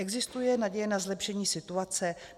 Existuje naděje na zlepšení situace?